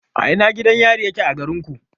A ina gidan yari yake a garinku?